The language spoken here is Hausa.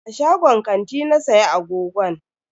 A shagon kanti na siya agogon.